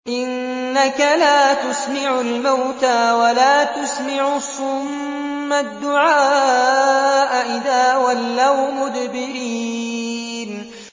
إِنَّكَ لَا تُسْمِعُ الْمَوْتَىٰ وَلَا تُسْمِعُ الصُّمَّ الدُّعَاءَ إِذَا وَلَّوْا مُدْبِرِينَ